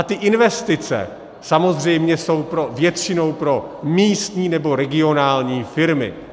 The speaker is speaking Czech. A ty investice samozřejmě jsou většinou pro místní nebo regionální firmy.